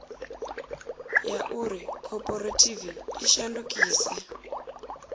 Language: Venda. ya uri khophorethivi i shandukise